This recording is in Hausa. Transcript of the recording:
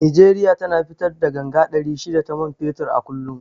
Nigeria tana fitar da ganga ɗari shida ta man fetur a kullum